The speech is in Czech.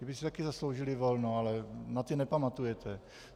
Ti by si taky zasloužili volno, ale na ty nepamatujete.